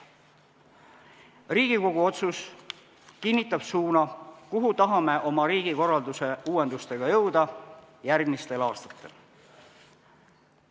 Riigikogu otsus kinnitab suuna, kuhu tahame oma riigikorralduse uuendustega jõuda järgmistel aastatel.